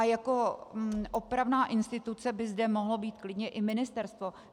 A jako opravná instituce by zde mohlo být klidně i ministerstvo.